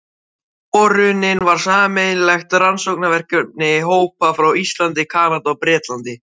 Borunin var sameiginlegt rannsóknarverkefni hópa frá Íslandi, Kanada, Bretlandi